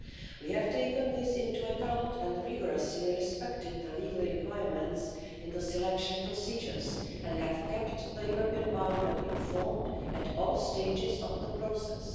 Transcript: We have taken this into account and rigorously respected the legal requirements in the selection procedures, and we have kept the European Parliament informed at all stages of the process.